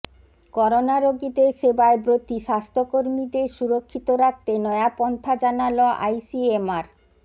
করোনারোগীদের সেবায় ব্রতী স্বাস্থ্যকর্মীদের সুরক্ষিত রাখতে নয়া পন্থা জানাল আইসিএমআর